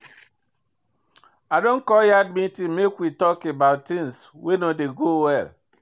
I don call yard meeting make we tok about tins wey no dey go well.